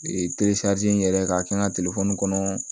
Ee n yɛrɛ ka kɛ n ka kɔnɔ